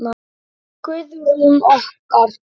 Guðrún okkar!